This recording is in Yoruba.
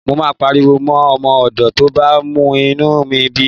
Mo máa pariwo mọ́ ọmọ ọ̀dọ̀ tó bá mú inú bí mi.